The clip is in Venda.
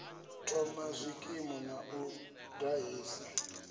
thoma zwikimu na u ṱahisa